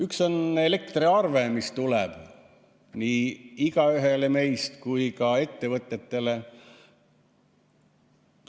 Üks asi on elektriarve, mis tuleb nii igaühele meist kui ka ettevõtjatele.